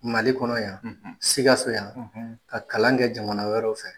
Mali kɔnɔ yan; Sikaso yan; Ka kalan kɛ jamana wɛrɛw fɛ